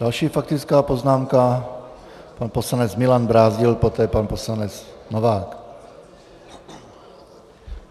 Další faktická poznámka, pan poslanec Milan Brázdil, poté pan poslanec Novák.